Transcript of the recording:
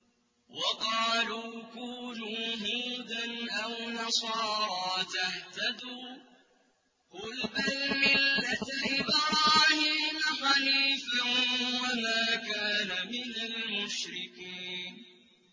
وَقَالُوا كُونُوا هُودًا أَوْ نَصَارَىٰ تَهْتَدُوا ۗ قُلْ بَلْ مِلَّةَ إِبْرَاهِيمَ حَنِيفًا ۖ وَمَا كَانَ مِنَ الْمُشْرِكِينَ